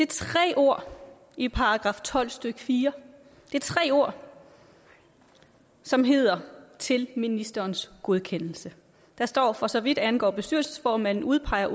tre ord i § tolv stykke fjerde det er tre ord som hedder til ministerens godkendelse der står for så vidt angår bestyrelsesformanden udpeger